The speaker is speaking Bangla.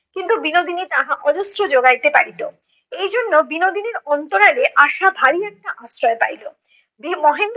কিন্তু বিনোদিনী তাহা অজস্র জোগাইতে পারিতো, এই জন্য বিনোদিনীর অন্তরালে আশা ভারী একটা আশ্রয় পাইলো, বি~ মহেন্দ্র